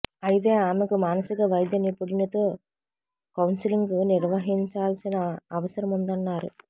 అయితే ఆమెకు మానసిక వైద్య నిపుణుడితో కౌన్సెలింగ్ నిర్వహించాల్సిన అవసరముందన్నారు